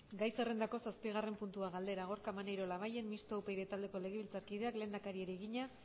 gai zerrendako zazpigarren puntua galdera gorka maneiro labayen mistoa upyd taldeko legebiltzarkideak lehendakariari egina